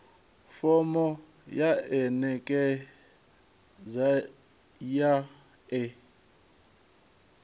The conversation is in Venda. fomo ya anekizha ya e